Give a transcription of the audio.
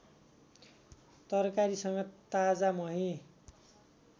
तरकारीसँग ताजा मही